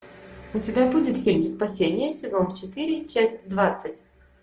у тебя будет фильм спасение сезон четыре часть двадцать